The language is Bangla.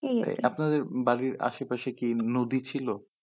এই আরকি আপনাদের বাড়ির আশেপাশে কি নদী ছিল?